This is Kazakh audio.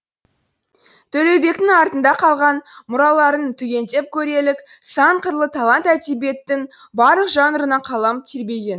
төлеубектің артында қалған мұраларын түгендеп көрелік сан қырлы талант әдебиеттің барлық жанрына қалам тербеген